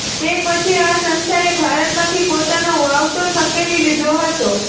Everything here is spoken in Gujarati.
તે પછી આ સંસ્થાએ ભારતમાંથી પોતાનો વાવટો સંકેેલી લીધો હતો